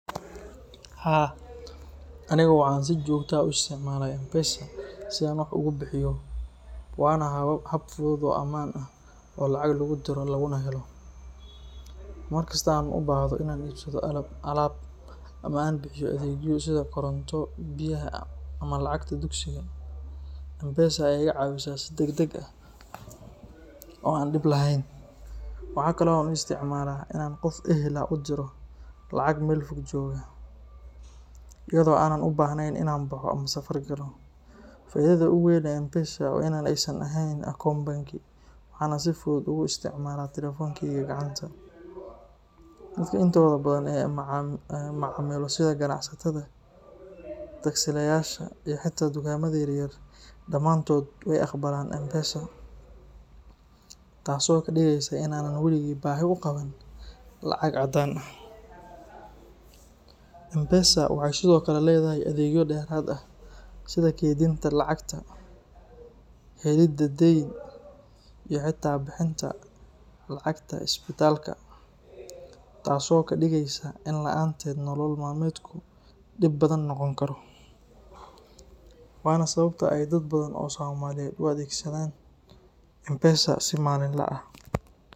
Haa, anigu waxaan si joogto ah u isticmaalaa M-Pesa si aan wax ugu bixiyo, waana hab fudud oo ammaan ah oo lacag lagu diro laguna helo. Mar kasta oo aan u baahdo inaan iibsado alaab ama aan bixiyo adeegyo sida koronto, biyaha, ama lacagta dugsiga, M-Pesa ayaa iga caawisa si degdeg ah oo aan dhib lahayn. Waxa kale oo aan u isticmaalaa in aan qof ehel ah u diro lacag meel fog jooga, iyadoo aanan u baahnayn in aan baxo ama safar galo. Faa’iidada ugu weyn ee M-Pesa waa in aysan baahnayn akoon bangi, waxaana si fudud ugu isticmaalaa taleefankeyga gacanta. Dadka intooda badan ee aan la macaamilo sida ganacsatada, taksiilayaasha, iyo xitaa dukaamada yaryar, dhammaantood way aqbalaan M-Pesa, taasoo ka dhigaysa in aanan waligay baahi u qabin lacag caddaan ah. M-Pesa waxay sidoo kale leedahay adeegyo dheeraad ah sida kaydinta lacagta, helidda deyn, iyo xitaa bixinta lacagta isbitaalka, taasoo ka dhigaysa in la’aanteed nolol maalmeedku dhib badan noqon karo. Waana sababta ay dad badan oo Soomaaliyeed u adeegsadaan M-Pesa si maalinle ah.